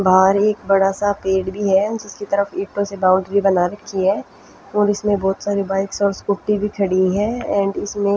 बाहर एक बड़ा सा पेढ़ भी है उससे तरफ एक उसके तरफ़ से बाउंड्री बना रखी है और इसमें बहुत सारी बाइक्स साइकिल एंड स्कूटी भी खड़ी है एंड इसमे--